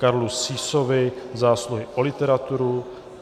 Karlu Sýsovi za zásluhy o literaturu